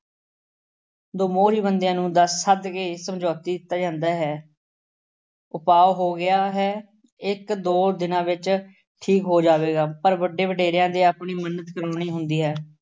ਦੋ ਮੋਹਰੀ ਬੰਦਿਆਂ ਨੂੰ ਦੱਸ ਸੱਦ ਕੇ ਸਮਝੌਤੀ ਦਿੱਤਾ ਜਾਂਦਾ ਹੈ ਉਪਾਅ ਹੋ ਗਿਆ ਹੈ। ਇੱਕ ਦੋ ਦਿਨਾਂ ਵਿੱੱਚ ਠੀਕ ਹੋ ਜਾਵੇਗਾ। ਪਰ ਵੱਡੇ ਵਡੇਰਿਆਂ ਦੇ ਆਪਣੀ ਮੰਨਤ ਕਰਨੀ ਹੁੰਦੀ ਹੈ।